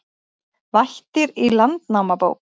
Vættir í Landnámabók